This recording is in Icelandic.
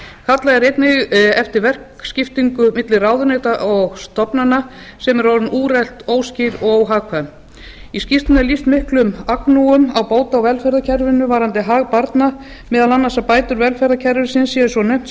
kallað er einnig eftir verkskiptingu milli ráðuneyta og stofnana sem er orðið úrelt óskýr og óhagkvæm í skýrslunni er lýst miklum agnúum á bóta og velferðarkerfinu varðandi hag barna meðal annars að bætur velferðarkerfisins séu svo naumt